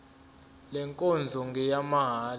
le nkonzo ngeyamahala